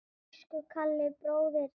Elsku Kalli bróðir.